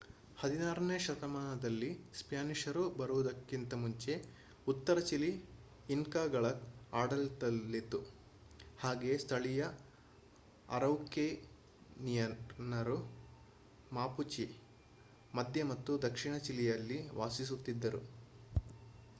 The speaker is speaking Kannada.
16 ನೇ ಶತಮಾನದಲ್ಲಿ ಸ್ಪ್ಯಾನಿಷರು ಬರುವುದಕ್ಕಿಂತ ಮುಂಚೆ ಉತ್ತರ ಚಿಲಿ ಇನ್ಕಾಗಳ ಆಡಳಿತದಲ್ಲಿತ್ತು ಹಾಗೆಯೇ ಸ್ಥಳೀಯ ಅರೌಕೆನಿಯನ್ನರು ಮಾಪುಚೆ ಮಧ್ಯ ಮತ್ತು ದಕ್ಷಿಣ ಚಿಲಿಯಲ್ಲಿ ವಾಸಿಸುತ್ತಿದ್ದರು